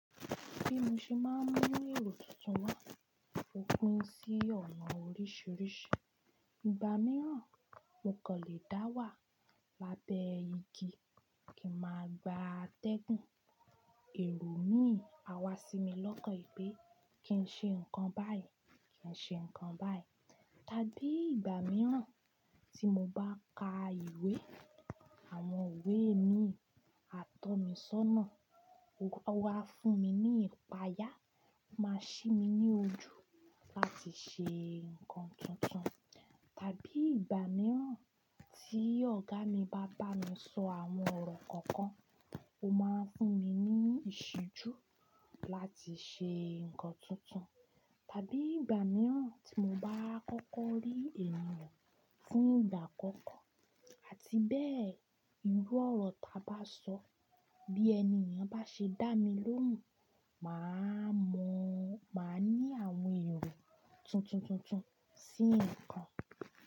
Bí mo ṣe máa ń mú èrò tuntun mọ̀, ó pín sí ọ̀nà oríṣiríṣi. Ìgbà mìíràn, mo kàn lè dá wà lábẹ́ igi kí n máa gba atẹ́gùn. Èrò mi á wá sí mi lọ́kàn pé kí n ṣe nǹkan báyìí, kí n ṣe nǹkan báyìí. Tàbí ìgbà mìíràn tí mo bá ka ìwé, àwọn ìwe mi á tọ́ mi sọ́nà, ó wá fún mi ní ìpayà, ó máa ṣí mi ní ojú láti ṣe nǹkan tuntun. Tàbí ìgbà mìíràn tí ọ̀gá mi bá bá mí sọ àwọn ọ̀rọ̀ kọ̀ọ̀kan, ó máa ń fún mi ní ìṣijú láti ṣe nǹkan tuntun. Tàbí ìgbà mìíràn tí mo bá kọ́kọ́ rí ènìyàn fún ìgbà àkọ́kọ́ àti bẹ́ẹ̀ irú ọ̀rọ̀ tọ bá sọ, bí ẹni ènìyàn bá ṣe dá mi lóhùn, mà á mọ̀, mà á ní àwọn èrò tuntuntuntun sí nǹkan.